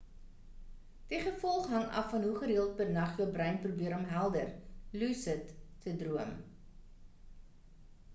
die gevolg hang af van hoe gereeld per nag jou brein probeer om helder lucid te droom